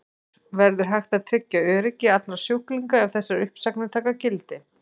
Höskuldur: Verður hægt að tryggja öryggi allra sjúklinga ef þessar uppsagnir taka gildi?